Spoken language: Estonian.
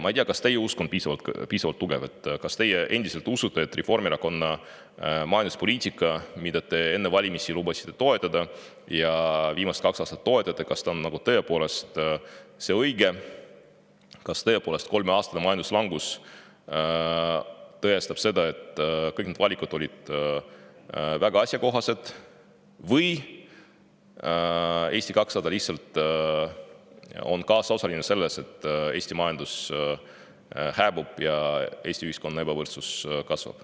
Ma ei tea, kas teie usk on piisavalt tugev, kas teie endiselt usute, et Reformierakonna majanduspoliitika, mida te enne valimisi lubasite toetada ja viimased kaks aastat oletegi toetanud, on tõepoolest see õige, kas kolmeaastane majanduslangus tõestab seda, et kõik need valikud olid väga asjakohased, või Eesti 200 on lihtsalt kaasosaline selles, et Eesti majandus hääbub ja Eesti ühiskonnas ebavõrdsus kasvab.